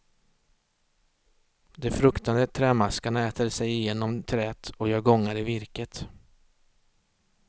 De fruktade trämaskarna äter sig igenom träet och gör gångar i virket.